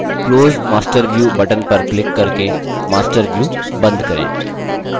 close master view button पर click करके master view बंद करें